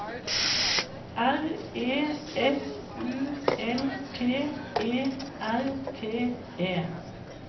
R E S U L T E R T E